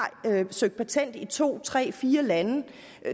søgt patent i to tre eller fire lande